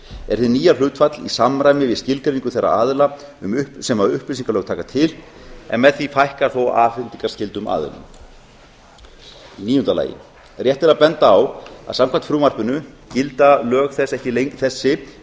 er hið nýja hlutfall í samræmi við skilgreiningu þeirra aðila sem upplýsingalög taka til en með því fækkar þó afhendingarskyldum aðilum níunda rétt er að benda á að samkvæmt frumvarpinu gilda lög þessi